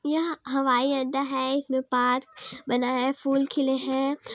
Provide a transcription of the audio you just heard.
यह हवाई अड्डा है इसमें पार्क बना है फूल खिले है।